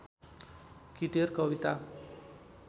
किटेर कविता